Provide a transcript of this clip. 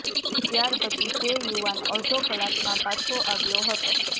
ત્યાર પછી તે યુવાન અડધો કલાકમાં પાછો આવ્યો હતો